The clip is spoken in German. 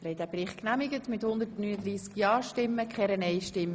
Sie haben den Bericht angenommen.